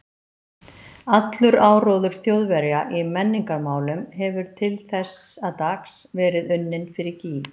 Allur áróður Þjóðverja í menningarmálum hefur til þessa dags verið unninn fyrir gýg.